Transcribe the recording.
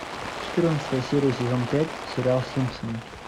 четырнадцатая серия сезон пять сериал симпсоны